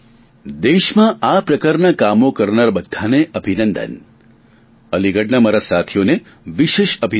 દેશમાં આ પ્રકારના કામો કરનાર બધાને અભિનંદન અલીગઢના મારા સાથીઓને વિશેષ અભિનંદન